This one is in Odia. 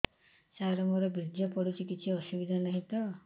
ସାର ମୋର ବୀର୍ଯ୍ୟ ପଡୁଛି କିଛି ଅସୁବିଧା ନାହିଁ ତ